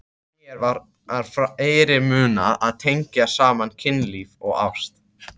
Mér var fyrirmunað að tengja saman kynlíf og ást.